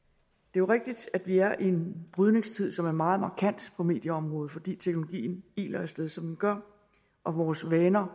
jo rigtigt at vi er i en brydningstid som er meget markant på medieområdet fordi teknologien iler af sted som den gør og vores vaner